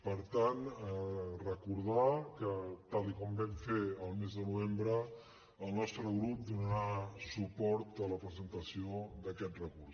per tant recordar que tal com vam fer el mes de novembre el nostre grup donarà suport a la presentació d’aquest recurs